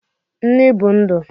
Nni bu ndu